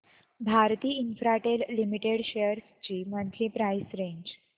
Bharti Infratel limited shares ची monthly price range